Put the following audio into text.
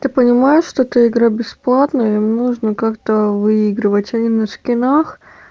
ты понимаешь что эта игра бесплатно им нужно как-то выигрывать они на скинах